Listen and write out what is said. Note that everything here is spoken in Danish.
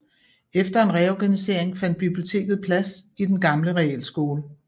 Efter en reorganisering fandt biblioteket plads i den gamle realskole på Sct